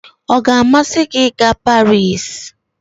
ọ ga-amasị gị ịga Paris?